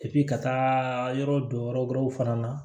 ka taa yɔrɔ dɔ yɔrɔ wɛrɛw fana na